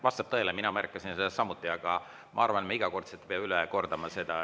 Vastab tõele, mina märkasin seda samuti, aga ma arvan, et me iga kord ei pea seda üle kordama.